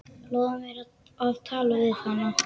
Lofaðu mér að tala við hana.